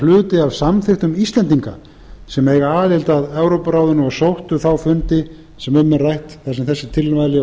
hluti af samþykktum íslendinga sem eiga aðild að evrópuráðinu og sóttu þá fundi sem um er rætt þar sem þessi tilmæli